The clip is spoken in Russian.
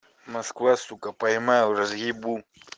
москва сука поймаю разъебу